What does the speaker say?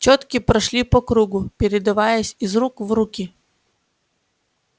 чётки прошли по кругу передаваясь из рук в руки